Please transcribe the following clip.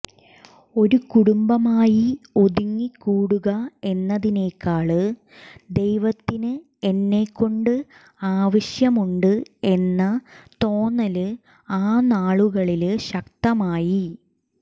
ഒരു കുടുംബമായി ഒതുങ്ങിക്കൂടുക എന്നതിനെക്കാള് ദൈവത്തിന് എന്നെക്കൊണ്ട് ആവശ്യമുണ്ട് എന്ന തോന്നല് ആ നാളുകളില് ശക്തമായി